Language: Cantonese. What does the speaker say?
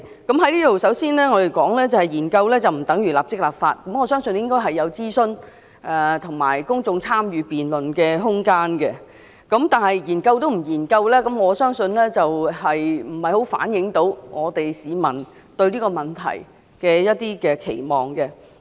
我在這裏首先要說，研究政策不等於立即立法，我相信要有諮詢和公眾參與辯論的空間，但連研究也不做，便不太能反映市民對這個問題的期望。